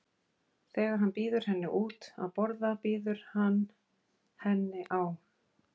Þegar hann býður henni út að borða býður hann henni á